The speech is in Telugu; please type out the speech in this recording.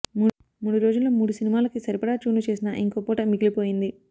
మూడు రోజుల్లో మూడు సినిమాలకి సరిపడా ట్యూన్లు చేసినా ఇంకో పూట మిగిలిపోయింది